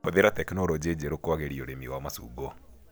Hũthĩra tekinologĩ njerũ kwagĩria ũrĩmi wa macungwa.